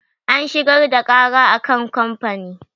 An shigar da ƙara a kan kamfanin.